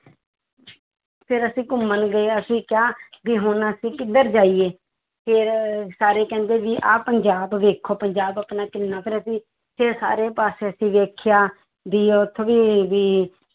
ਫਿਰ ਅਸੀਂ ਘੁੰਮਣ ਗਏ ਅਸੀਂ ਕਿਹਾ ਵੀ ਹੁਣ ਅਸੀਂ ਕਿੱਧਰ ਜਾਈਏ ਫਿਰ ਸਾਰੇ ਕਹਿੰਦੇ ਵੀ ਆਹ ਪੰਜਾਬ ਵੇਖੋ ਪੰਜਾਬ ਆਪਣਾ ਕਿੰਨਾ ਫਿਰ ਅਸੀਂ ਫਿਰ ਸਾਰੇ ਪਾਸੇ ਅਸੀਂ ਵੇਖਿਆ, ਵੀ ਉੱਥੇ ਵੀ ਵੀ